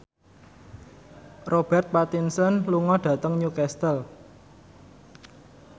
Robert Pattinson lunga dhateng Newcastle